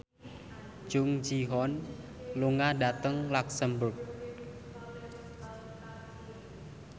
Jung Ji Hoon lunga dhateng luxemburg